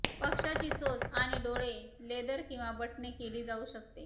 पक्षाची चोच आणि डोळे लेदर किंवा बटणे केली जाऊ शकते